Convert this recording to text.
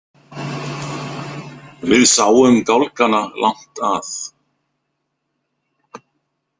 Við sáum gálgana langt að.